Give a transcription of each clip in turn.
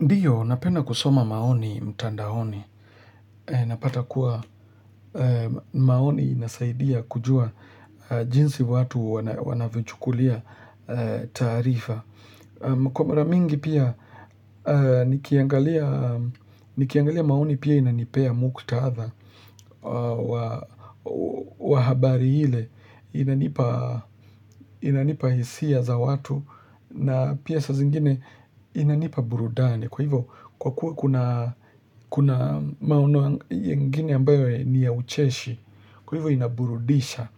Ndio, napenda kusoma maoni mtandaoni. Napata kuwa maoni inasaidia kujua jinsi watu wanavyochukulia taarifa. Kwa mara mingi pia nikiangalia maoni pia inanipea mkutatha wa habari ile. Inanipa hisia za watu na pia saa zingine inanipa burudani. Kwa hivyo kwa kuwa kuna maono yengine ambayo ni ya ucheshi. Kwa hivyo inaburudisha.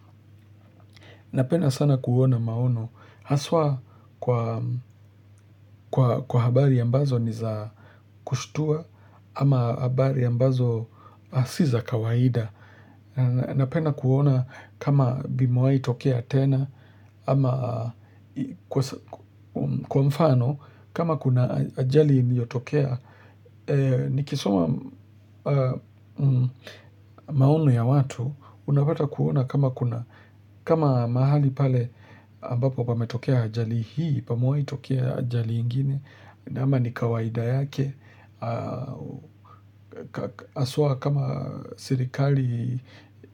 Napenda sana kuona maono. Haswa kwa habari ambazo niza kushtua ama habari ambazo si za kawaida. Napenda kuona kama vimewai tokea tena ama kwa mfano kama kuna ajali iliyotokea. Nikisoma maono ya watu unapata kuona kama kuna kama mahali pale ambapo pametokea ajali hii. Pamewai tokea ajali ingine. Na ama ni kawaida yake haswa kama serikali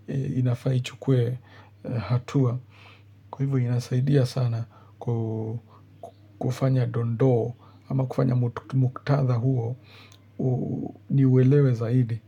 inafaa ichukue hatua. Kwa hivyo inasaidia sana kufanya dondoo ama kufanya muktatha huo ni uelewe zaidi.